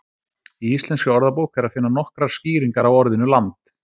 í íslenskri orðabók er að finna nokkrar skýringar á orðinu land